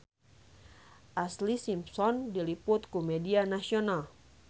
Ashlee Simpson diliput ku media nasional